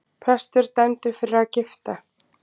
Prestur dæmdur fyrir að gifta